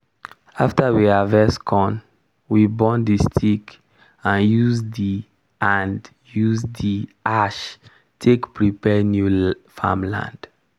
after we harvest corn we burn the stick and use the and use the ash take prepare new farm land.